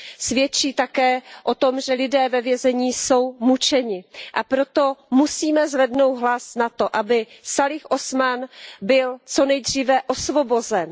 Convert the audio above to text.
Svědčí také o tom, že lidé ve vězení jsou mučeni, a proto musíme zvednout hlas za to, aby Sálih Mahmúd Usmán byl co nejdříve osvobozen.